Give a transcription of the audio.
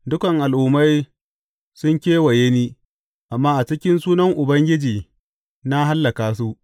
Dukan al’ummai sun kewaye ni, amma a cikin sunan Ubangiji na hallaka su.